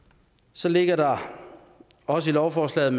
så ligger der også i lovforslaget